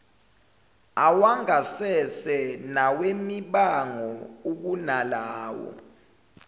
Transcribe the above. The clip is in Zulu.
awangasese nawemibango ukunalawo